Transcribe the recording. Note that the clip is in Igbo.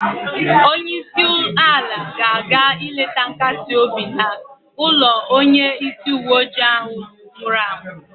Onye isi ala ga-aga nleta nkasi obi na ezinụlọ onye uwe ojii ahụ nwụrụ anwụ